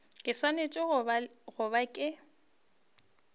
ke swanetše go ba ke